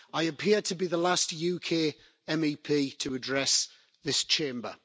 I appear to be the last UK MEP to address this Chamber.